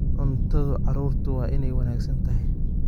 Cunto carruurtu waa inay wanaagsan tahay.